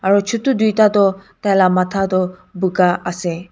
aru chotu duita tu taila matha tu boga ase.